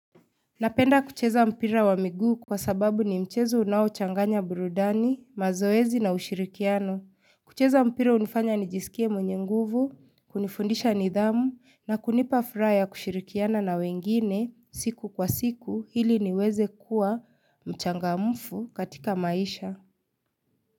Napenda kucheza mpira wa miguu kwa sababu ni mchezo unaochanganya burudani, mazoezi na ushirikiano. Kucheza mpira hunifanya nijisikie mwenye nguvu, kunifundisha nidhamu na hunipa furaha kushirikiana na wengine siku kwa siku ili niweze kuwa mchangamfu katika maisha.